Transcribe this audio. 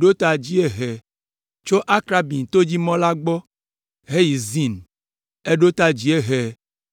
ɖo ta dziehe tso Akrabim to dzi mɔ la gbɔ heyi Zin. Eɖo ta dziehe